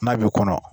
N'a bɛ kɔnɔ